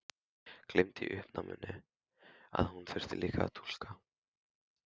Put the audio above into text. Gleymdi í uppnáminu að hún þurfti líka að túlka.